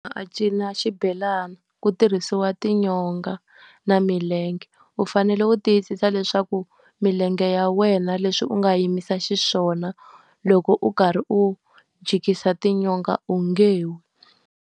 cina xibelana ku tirhisiwa tinyonga na milenge. U fanele u tiyisisa leswaku milenge ya wena leswi u nga yimisa xiswona, loko u karhi u jikisa tinyonga onge wi.